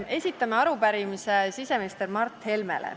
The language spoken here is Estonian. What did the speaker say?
Esitame arupärimise siseminister Mart Helmele.